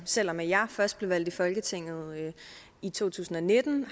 selv om jeg først blev valgt ind i folketinget i to tusind og nitten